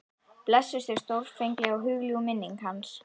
Blessuð sé stórfengleg og hugljúf minning hans.